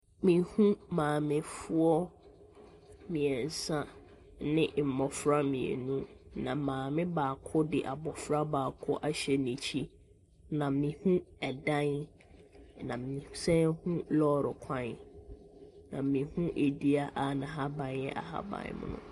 Mehu maamefoɔ mmeɛnsa ne mmɔfra mmienu na maame baako de abɔfra baako ahyɛ n'akyi. Na mehu dan, na mesan hu lɔre kwan, na mehu dua a n'ahaban yɛ ahaban mono.